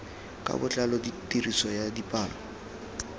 ka botlalo tiriso ya dipalo